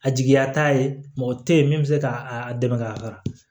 A jigiya t'a ye mɔgɔ tɛ yen min bɛ se k'a dɛmɛ ka taga